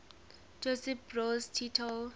josip broz tito